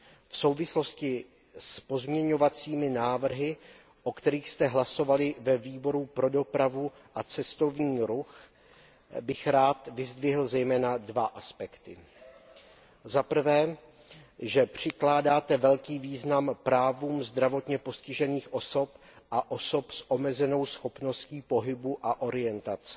V souvislosti s pozměňovacími návrhy, o kterých jste hlasovali ve Výboru pro dopravu a cestovní ruch, bych rád vyzdvihl zejména dva aspekty. Za prvé, že přikládáte velký význam právům zdravotně postižených osob a osob s omezenou schopností pohybu a orientace.